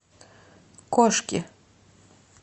кошки